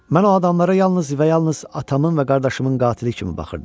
Mən o adamlara yalnız və yalnız atamın və qardaşımın qatili kimi baxırdım.